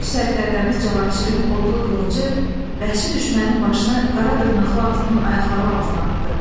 Böyük sərkərdəmiz Cavanşirin odlu qılıncı bəhşi düşmənin başını qara dırnaqlı atının ayaqları altına atdı.